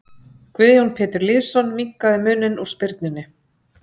Guðjón Pétur Lýðsson minnkaði muninn úr spyrnunni.